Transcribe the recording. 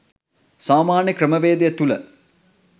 සාමාන්‍ය ක්‍රමවේදය තුල